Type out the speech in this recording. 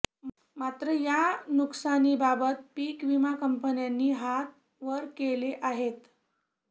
मात्र या नुकसानीबाबत पीक विमा कंपन्यांनी हात वर केले आहेत